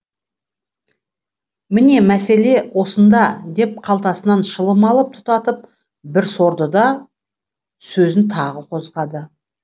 міне мәселе осында деп қалтасынан шылым алып тұтатып бір сорды да сөзін тағы қозғады